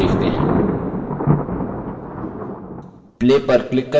अब हमारे द्वारा किये गये transition प्रभाव का प्रिव्यू देखते हैं